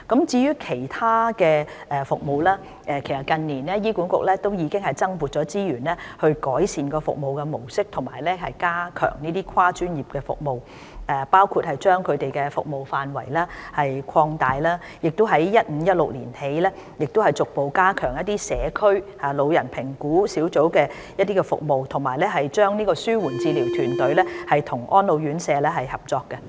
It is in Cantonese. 至於其他服務方面，其實近年醫管局已經增撥資源，改善服務模式及加強這些跨專業服務，包括擴大服務範圍，以及由 2015-2016 年度起，逐步加強社區老人評估小組的服務，以及安排紓緩治療團隊與安老院舍合作。